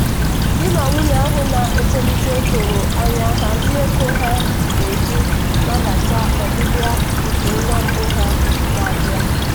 di na nwunye ahụ na-etolite doro anya hazie ego ha ga-eji nabata ọbịbịa nke nwa mbụ ha na-abịa.